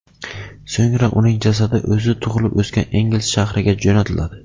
So‘ngra uning jasadi o‘zi tug‘ilib o‘sgan Engels shahriga jo‘natiladi.